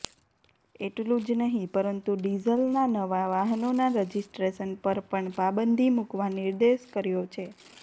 એટલું જ નહીં પરંતુ ડીઝલના નવા વાહનોના રજિસ્ટ્રેશન પર પણ પાબંદી મૂકવા નિર્દેશ કર્યો છે